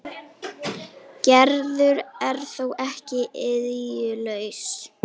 Gerður er þó ekki iðjulaus.